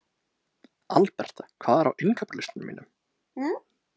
Alberta, hvað er á innkaupalistanum mínum?